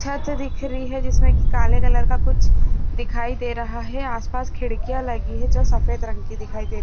छत दिख रही है काले कलर की कुछ दिखाई दे रहा है आस-पास खिड़कियाँ लगी है जो सफ़ेद रंग की दिखाई दे--